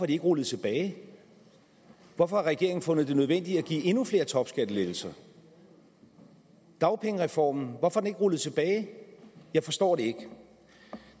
de ikke rullet tilbage hvorfor har regeringen fundet det nødvendigt at give endnu flere topskattelettelser dagpengereformen hvorfor er den ikke rullet tilbage jeg forstår det ikke